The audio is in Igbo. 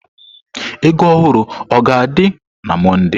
Ego ohuru o ga-adị na Mọnde?